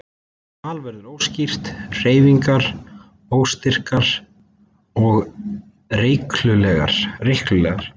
Tal verður óskýrt, hreyfingar óstyrkar og reikular.